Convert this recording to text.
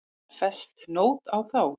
Var fest nót á þá.